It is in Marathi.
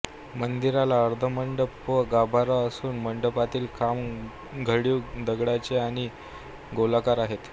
मंदिराला अर्धमंडप व गाभारा असून मंडपातील खांब घडीव दगडाचे आणि गोलाकार आहेत